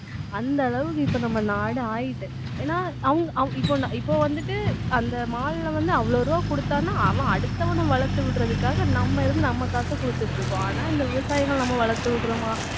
அந்த அளவுக்கு இப்ப நம்ம நாடு ஆயிட்டு ஏன்னா அவுங்~ அவு~ இப்போ இப்போ வந்துட்டு அந்த mall ல வந்து அவ்வளவு ரூபாய் கொடுத்தான்னா அவன் அடுத்தவனை வளர்த்து விடுறதுக்காக நம்ம இருந்து நம்ம காசை கொடுத்துட்டு இருக்கோம் ஆனா இந்த விவசாயிகளை நம்ம வளர்த்து விடுறோமா